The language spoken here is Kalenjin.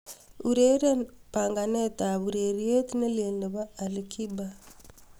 ureren panganet ab ureryet nelel nepo ali kiba